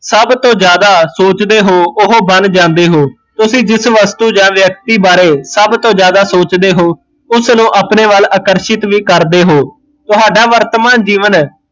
ਸਭ ਤੋਂ ਜਿਆਦਾ ਸੋਚਦੇ ਹੋ ਉਹ ਬਣ ਜਾਂਦੇ ਹੋ ਤੁਸੀਂ ਜਿਸ ਵਸਤੂ ਜਾਂ ਵਿਅਕਤੀ ਬਾਰੇ ਸਭ ਤੋਂ ਜਿਆਦਾ ਸੋਚਦੇ ਹੋ ਉਸ ਨੂ ਅਪਣੇ ਵੱਲ ਆਕਰਸ਼ਿਤ ਵੀ ਕਰਦੇ ਹੋ ਤੁਹਾਡਾ ਵਰਤਮਾਨ ਜੀਵਨ